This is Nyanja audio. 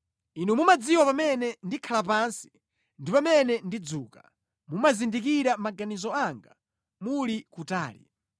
Inu mumadziwa pamene ndikhala pansi ndi pamene ndidzuka; mumazindikira maganizo anga muli kutali.